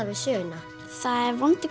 við söguna það er vondur